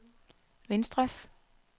venstres